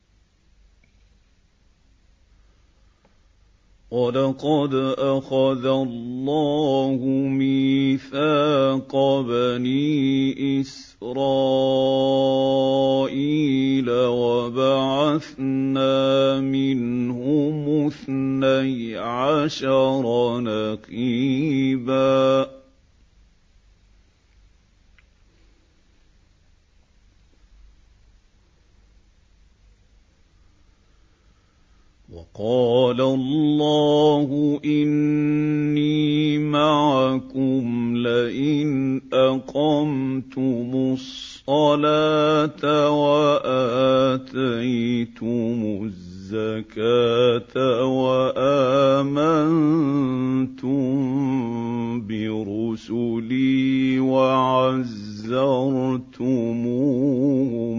۞ وَلَقَدْ أَخَذَ اللَّهُ مِيثَاقَ بَنِي إِسْرَائِيلَ وَبَعَثْنَا مِنْهُمُ اثْنَيْ عَشَرَ نَقِيبًا ۖ وَقَالَ اللَّهُ إِنِّي مَعَكُمْ ۖ لَئِنْ أَقَمْتُمُ الصَّلَاةَ وَآتَيْتُمُ الزَّكَاةَ وَآمَنتُم بِرُسُلِي وَعَزَّرْتُمُوهُمْ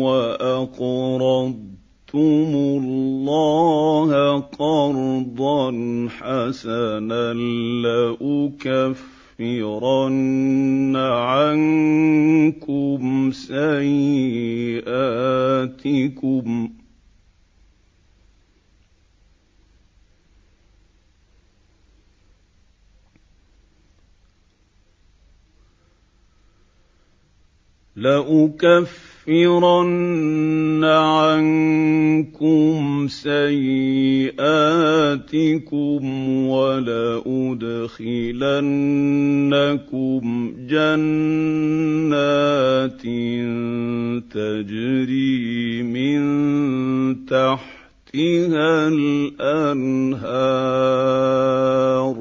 وَأَقْرَضْتُمُ اللَّهَ قَرْضًا حَسَنًا لَّأُكَفِّرَنَّ عَنكُمْ سَيِّئَاتِكُمْ وَلَأُدْخِلَنَّكُمْ جَنَّاتٍ تَجْرِي مِن تَحْتِهَا الْأَنْهَارُ ۚ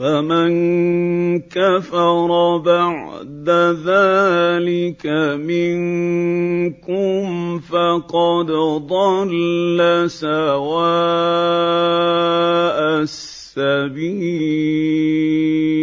فَمَن كَفَرَ بَعْدَ ذَٰلِكَ مِنكُمْ فَقَدْ ضَلَّ سَوَاءَ السَّبِيلِ